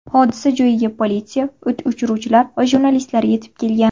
Hodisa joyiga politsiya, o‘t o‘chiruvchilar va jurnalistlar yetib kelgan.